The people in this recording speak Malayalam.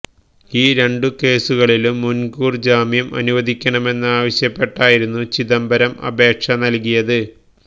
ഈ രണ്ടുകേസുകളിലും മുന്കൂര് ജാമ്യം അനുവദിക്കണമെന്നാവശ്യപ്പെട്ടായിരുന്നു ചിദംബരം അപേക്ഷ നല്കിയത്